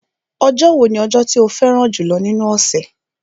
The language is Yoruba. Ọjọ́ wo ni ọjọ́ tí o fẹ́ràn jùlọ́ nínú ọ̀sẹ̀?